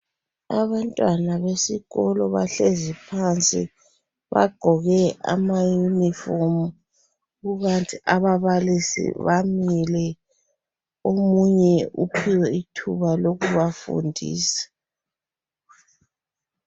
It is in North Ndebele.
Abantwana besikolo bahlezi phansi. Bagqoke amayinifomu kukanti ababalisi bamile. Omunye uphiwe ithuba lokubafundisa.